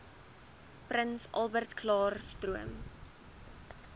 prins albertklaarstroom